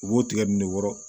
U b'o tigɛ ne wɔɔrɔ